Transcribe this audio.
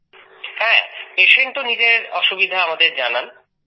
হ্যাঁ patientও নিজের অসুবিধা আমাদের জানান